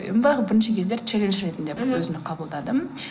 бірінші кездері челендж ретінде қабылдадым